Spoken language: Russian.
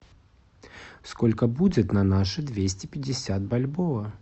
сколько будет на наши двести пятьдесят бальбоа